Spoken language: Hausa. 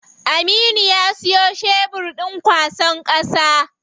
Aminu ya siyo shebur ɗin kwasan ƙasa.